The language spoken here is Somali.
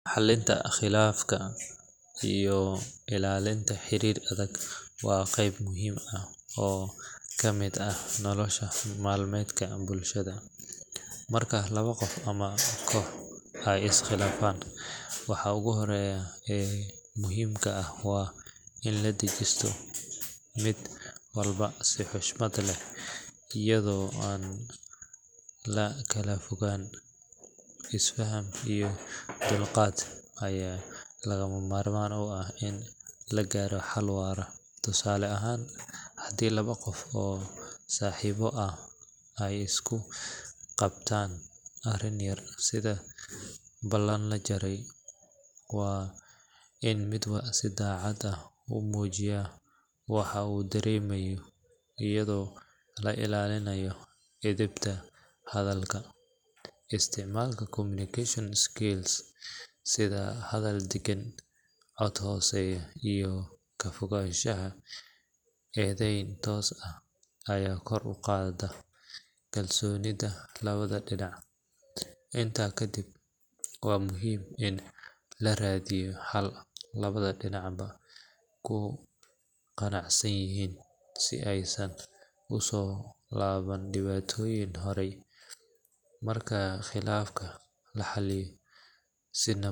Xallinta khilaafaadka iyo ilaalinta xiriirka adag waa qayb muhiim ah oo ka mid ah nolol maalmeedka bulshada. Marka laba qof ama koox ay is khilaafaan, waxa ugu horreeya ee muhiimka ah waa in la dhageysto mid walba si xushmad leh iyadoo aan la kala fogaan. Isfaham iyo dulqaad ayaa lagama maarmaan u ah in la gaaro xal waara. Tusaale ahaan, haddii laba qof oo saaxiibo ah ay isku qabtaan arrin yar sida ballan la jabiyay, waa in mid walba si daacad ah u muujiyo waxa uu dareemayo iyadoo la ilaalinayo edebta hadalka. Isticmaalka communication skills sida hadal deggan, cod hooseeya, iyo ka fogaanshaha eedeyn toos ah ayaa kor u qaada kalsoonida labada dhinac. Intaa kadib, waa muhiim in la raadiyo xal labada dhinacba ku qanacsan yihiin si aysan u soo laaban dhibaatooyin hore. Marka khilaaf la xaliyo si nabad.